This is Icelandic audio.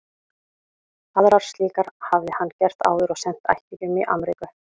Aðrar slíkar hafði hann gert áður og sent ættingjum í Amríku.